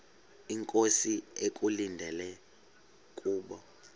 inkosi ekulindele kubo